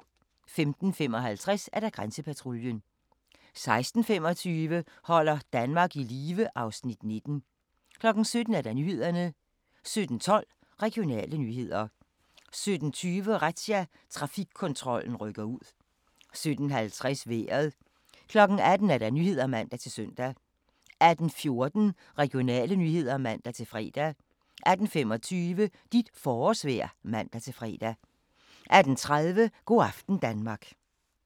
15:55: Grænsepatruljen 16:25: Holder Danmark i live (Afs. 19) 17:00: Nyhederne 17:12: Regionale nyheder 17:20: Razzia – Trafikkontrollen rykker ud 17:50: Vejret 18:00: Nyhederne (man-søn) 18:14: Regionale nyheder (man-fre) 18:25: Dit forårsvejr (man-fre) 18:30: Go' aften Danmark